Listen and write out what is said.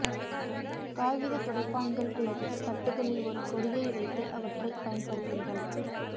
காகித துடைப்பான்கள் அல்லது தட்டுகளில் ஒரு கொடியை வைத்து அவற்றைப் பயன்படுத்துங்கள்